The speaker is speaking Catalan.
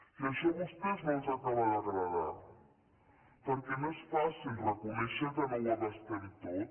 i això a vostès no els acaba d’agradar perquè no és fàcil reconèixer que no ho abastem tot